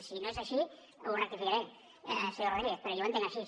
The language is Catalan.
si no és així ho rectificaré senyor rodríguez però jo ho entenc així